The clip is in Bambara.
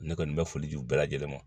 Ne kɔni bɛ foli di u bɛɛ lajɛlen ma